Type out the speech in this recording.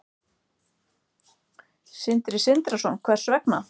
Sindri Sindrason: Hvers vegna?